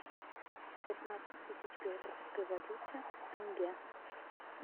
пятнадцать тысяч белорусской валюте в тенге